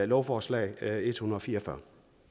lovforslag l ethundrede